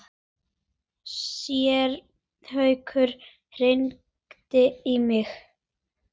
Séra Haukur hringdi í mig.